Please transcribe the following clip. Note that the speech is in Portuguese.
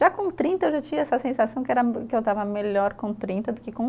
Já com trinta eu já tinha essa sensação que era, que eu estava melhor com trinta do que com